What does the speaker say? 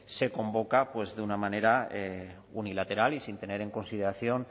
se convoca de una manera unilateral y sin tener en consideración